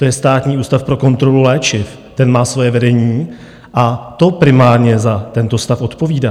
To je Státní ústav pro kontrolu léčiv, ten má svoje vedení a to primárně za tento stav odpovídá.